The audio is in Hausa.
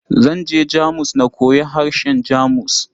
Zan je Jamus na koyi harshen Jamus.